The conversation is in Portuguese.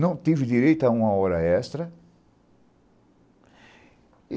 Não tive direito a uma hora extra.